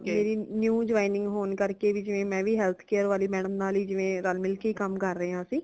ਮੇਰੀ new joining ਹੌਣ ਕਰਕੇ ਜਿਵੇਂ ਮੈਹ ਵੀ health care ਵਾਲੀ madam ਨਾਲ ਵੀ ਜਿਵੇ ਰਲ ਮਿਲਕੇ ਕਾਂਮ ਕਰੇ ਹਾ ਸੀ